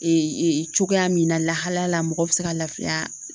Ee cogoya min na lahalayala mɔgɔ bi se ka lafiya